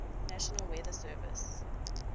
national weather service